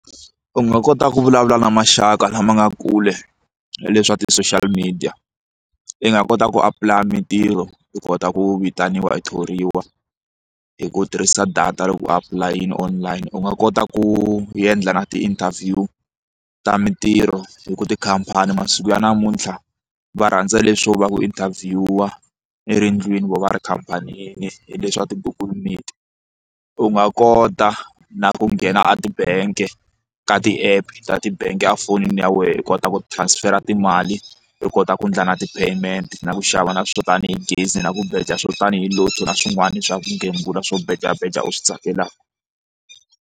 U nga kota ku vulavula na maxaka lama nga kule hi leswa ti-social media i nga kota ku apulaya mitirho hi kota ku vitaniwa i thoriwa hi ku tirhisa data loko u apply-in online u nga kota ku yendla na ti-interview ta mitirho hi ku tikhampani masiku ya namuntlha va rhandza leswo va ku interview i ri endlwini vo va ri khampanini hi leswa ti-google media u nga kota na ku nghena a ti-bank ka ti-app ta ti-bank a fonini ya wena i kota ku transfer timali u kota ku endla na ti-payment na ku xava na swo tanihi gezi na ku beja swo tanihi Lotto na swin'wana swa ku gembula swo beja beja u swi tsakelaka.